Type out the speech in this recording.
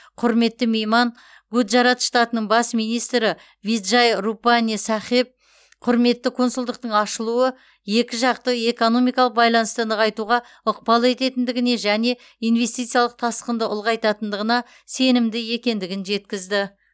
құрметті мейман гуджарат штатының бас министрі виджай рупани сахеб құрметті консульдықтың ашылуы екі жақты экономикалық байланысты нығайтуға ықпал ететіндігіне және инвестициялық тасқынды ұлғайтатындығына сенімді екендігін жеткізді